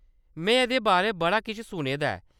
में एह्‌‌‌दे बारै बड़ा किश सुने दा ऐ।